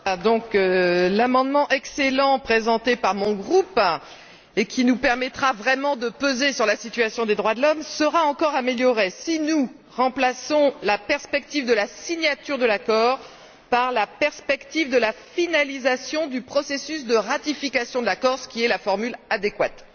Monsieur le Président, l'amendement, excellent, présenté par mon groupe et qui nous permettra vraiment de peser sur la situation des droits de l'homme sera encore amélioré, si nous remplaçons la perspective de la signature de l'accord par la perspective de la finalisation du processus de ratification de l'accord, ce qui est la formule adéquate.